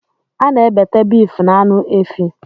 Ana ebete beeefu na aṅụ efi.